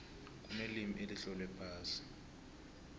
kunelimi elitlolwe phasi